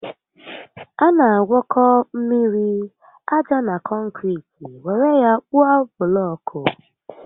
A na agwọkọ mmiri, aja na kọnkiriti were ya kpụọ bụlọọkụ